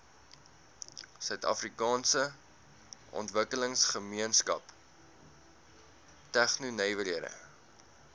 suidafrikaanse ontwikkelingsgemeenskap tegnonywerhede